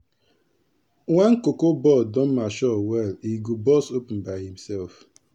wen cotton ball don mature well e go burst open by e self.